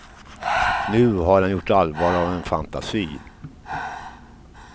Nu har han gjort allvar av en fantasi.